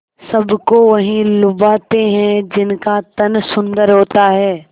सबको वही लुभाते हैं जिनका तन सुंदर होता है